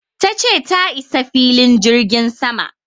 ta ce ta isa filin jirgin sama